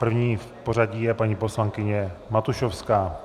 První v pořadí je paní poslankyně Matušovská.